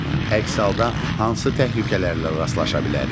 Əks halda hansı təhlükələrlə rastlaşa bilərik?